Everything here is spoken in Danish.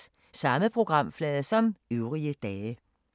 Samme programflade som øvrige dage